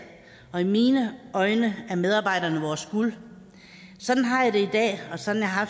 og i mine øjne er medarbejderne vores guld sådan har i dag og sådan har